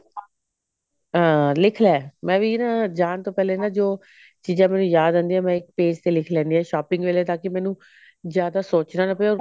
ਅਹ ਲਿੱਖ ਲੈ ਮੈਂ ਵੀ ਨਾ ਜਾਂ ਤੋਂ ਪਹਿਲਾਂ ਨਾ ਜੋ ਚੀਜਾਂ ਮੈਨੂੰ ਯਾਦ ਆਉਂਦੀਆਂ ਨੇ ਮੈਂ ਇੱਕ page ਤੇ ਲਿੱਖ ਲੈਣੀ ਹਾਂ shopping ਵੇਲੇ ਤਾਕਿ ਮੈਨੂੰ ਜਿਆਦਾ ਸੋਚਣਾ ਨਾ ਪਵੇ